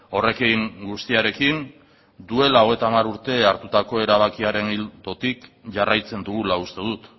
horrekin guztiarekin duela hogeita hamar urte hartutako erabakiaren ildotik jarraitzen dugula uste dut